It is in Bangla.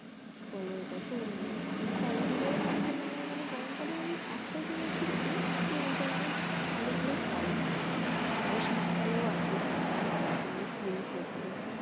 কি বলে ওটাকে তরমুজ এই ফলগুলোও তখন আমার মানে গরমকালের ওই একটা জিনিসই ভাল ওই টাইম এ ভাল ভাল ফল পওয়া যায় আবার শিত কালেও আছে শীতকালে নানারকমের ফুল ফোটে